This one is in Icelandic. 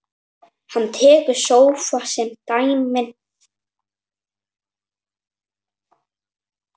Hann tekur sófa sem dæmi.